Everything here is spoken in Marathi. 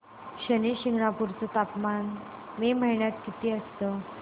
शनी शिंगणापूर चं तापमान मे महिन्यात किती असतं